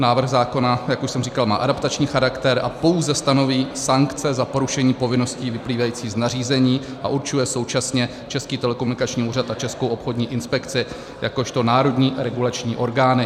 Návrh zákona, jak už jsem říkal, má adaptační charakter a pouze stanoví sankce za porušení povinností vyplývajících z nařízení a určuje současně Český telekomunikační úřad a Českou obchodní inspekci jakožto národní regulační orgány.